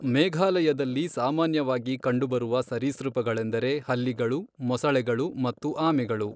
ಮೇಘಾಲಯದಲ್ಲಿ ಸಾಮಾನ್ಯವಾಗಿ ಕಂಡುಬರುವ ಸರೀಸೃಪಗಳೆಂದರೆ ಹಲ್ಲಿಗಳು, ಮೊಸಳೆಗಳು, ಮತ್ತು ಆಮೆಗಳು.